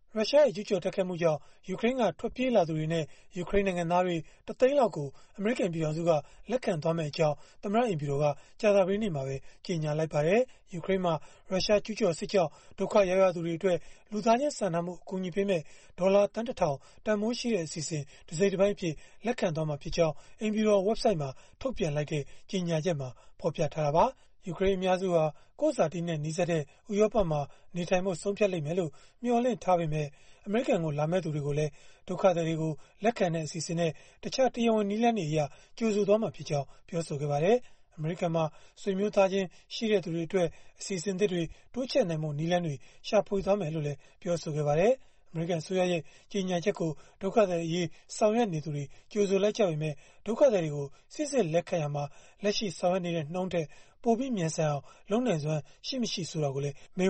ရုရှားရဲ့ ကျုးကျော်တိုက်ခိုက်မှုကြောင့် ယူကရိန်းက ထွက်ပြေးလာသူတွေနဲ့ ယူကရိန်းနိုင်ငံသားတွေ ၁ သိန်းလောက်ကို အမေရိကန် ပြည်ထောင်စုက လက်ခံမယ့်အကြောင်း သမ္မတအိမ်ဖြူတော်က ကြာသပတေးနေ့မှာပဲ ကြေညာလိုက်ပါတယ်။ ယူကရိန်းမှာ ရုရှားကျုးကျော်စစ်ကြောင့် ဒုက္ခရောက်ရသူတွေအတွက် လူသားချင်းစာနာမှု အကူအညီပေးမယ့် ဒေါ်လာသန်း ၁ ထောင် တန်ဘိုးရှိတဲ့ အစီအစဉ် တစိတ်တပိုင်းအဖြစ် လက်ခံသွားမှာဖြစ်ကြောင်း အိမ်ဖြူတော် ဝဘ်ဆိုဒ်မှာ ထုတ်ပြန်လိုက်တဲ့ ကြေညာချက်မှာ ဖော်ပြခဲ့တာပါ။ ယူကရိန်း အများစုဟာ ကိုယ့်ဇာတိနဲ့ နီးစပ်တဲ့ ဥရောပမှာ နေထိုင်ဖို့ ဆုံးဖြတ်လိမ့်မယ်လို့ မျှော်လင့်ထားပေမဲ့ အမေရိကန်ကို လာမယ့်သူတွေကိုလည်း ဒုက္ခသည်တွေ လက်ခံတဲ့ အစီအစဉ်နဲ့ တခြားတရားဝင် နည်းလမ်းတွေအရ ကြိုဆိုသွားမှာဖြစ်ကြောင်း ပြောပါတယ်။ အမေရိကန်မှာ ဆွေမျိုးသားချင်း ရှိတဲ့သူတွေအတွက် အစီအစဉ်သစ်တွေ တိုးချဲ့နိုင်ဖို့ နည်းလမ်းတွေ ရှာဖွေသွားမယ်လို့လည်း ပြောပါတယ်။ အမေရိကန် အစိုးရရဲ့ ကြေညာချက်ကို ဒုက္ခသည်အရေး ဆောင်ရွက်နေသူတွေက ကြိုဆိုလိုက်ကြပေမဲ့ ဒုက္ခသည်တွေကို စိစစ်လက်ခံရာမှာ လက်ရှိ ဆောင်ရွက်နေတဲ့ နှုန်းထက်ပိုပြီး မြန်ဆန်အောင် လုပ်နိုင်စွမ်း ရှိမရှိ ဆိုတာကိုလည်း မေး